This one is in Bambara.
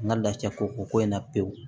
N ka lafiya ko ko in na pewu